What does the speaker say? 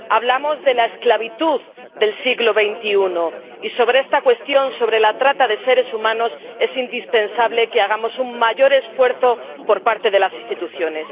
Hablamos de la esclavitud del siglo XXI, y sobre esta cuestión, sobre la trata de seres humanos, es indispensable que hagamos un mayor esfuerzo por parte de las instituciones.